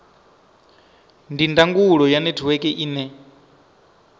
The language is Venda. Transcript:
ndi ndangulo ya netiweke ine